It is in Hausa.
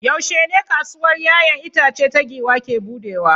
Yaushe ne kasuwar 'ya'yan itace ta giwa ke buɗewa?